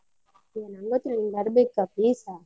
ಏ ನಂಗೊತ್ತಿಲ್ಲ ನೀನ್ ಬರ್ಬೇಕಾ please ಆ.